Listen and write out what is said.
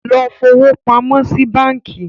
Lọ fowópamọ́ sí báńkí.